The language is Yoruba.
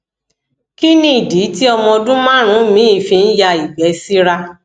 kí nìdí tí ọmọ ọdún márùnún mi fi ń ya igbe sira